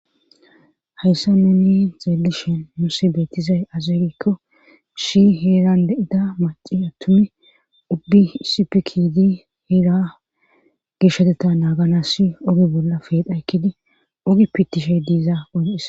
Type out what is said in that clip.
Hayssa nuni xeelishen muussi beetizay azey giikko shi heeran de'ida maci attumi ubbi isipikidi heera geshoteta naagana si ogi bolla feedhaykkidi ogi pittishey diiza ogissa.